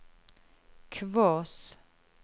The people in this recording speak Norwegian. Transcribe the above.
Kvås